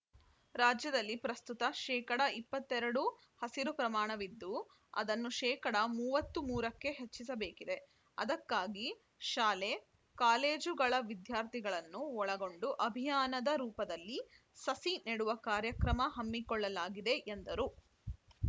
ರಾಜ್ಯದಲ್ಲಿ ಪ್ರಸ್ತುತ ಶೇಕಡಾ ಇಪ್ಪತ್ತ್ ಎರಡು ಹಸಿರು ಪ್ರಮಾಣವಿದ್ದುಅದನ್ನು ಶೇಕಡಾ ಮೂವತ್ತ್ ಮೂರಕ್ಕೆ ಹೆಚ್ಚಿಸಬೇಕಿದೆ ಅದಕ್ಕಾಗಿ ಶಾಲೆ ಕಾಲೇಜುಗಳ ವಿದ್ಯಾರ್ಥಿಗಳನ್ನು ಒಳಗೊಂಡು ಅಭಿಯಾನದ ರೂಪದಲ್ಲಿ ಸಸಿ ನೆಡುವ ಕಾರ್ಯಕ್ರ ಹಮ್ಮಿಕೊಳ್ಳಲಾಗಿದೆ ಎಂದರು